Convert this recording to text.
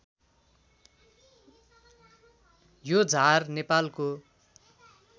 यो झार नेपालको